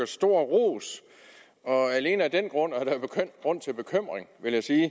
stor ros og alene af den grund er der grund til bekymring vil jeg sige